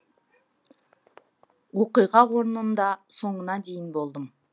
оқиға орнында соңына дейін болдым